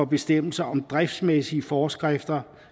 bestemmelser om driftsmæssige forskrifter